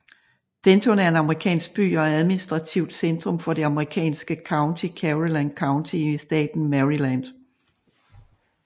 Denton er en amerikansk by og administrativt centrum for det amerikanske county Caroline County i staten Maryland